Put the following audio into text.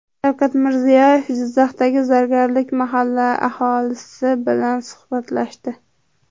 Shavkat Mirziyoyev Jizzaxdagi Zargarlik mahallasi aholisi bilan suhbatlashdi.